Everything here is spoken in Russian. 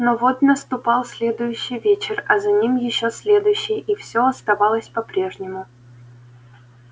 но вот наступал следующий вечер а за ним ещё следующий и всё оставалось по-прежнему